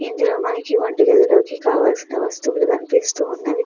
ఇందులో మనకి వంట గదిలోకి కావలసిన వస్తువులు కనిపిస్తున్నవి.